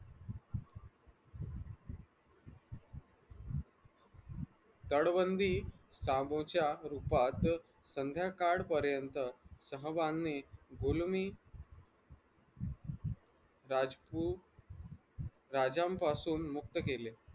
तडबंदी सामूच्या रूपात संध्याकाळ पर्यंत सहभानाने जुलमी राजपुत्र राजांपासून मुक्त केले.